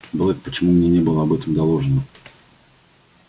блэк почему мне не было об этом доложено